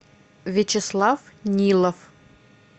вячеслав нилов